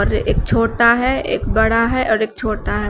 एक छोटा है एक बड़ा है और एक छोटा है।